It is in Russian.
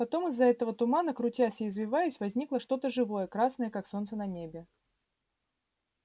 потом из этого тумана крутясь и извиваясь возникло что то живое красное как солнце в небе